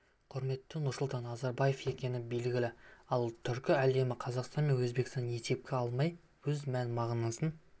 құрметті нұрсұлтан назарбаев екені белгілі ал түркі әлемі қазақстан мен өзбекстанды есепке алмай өз мән-мағынасын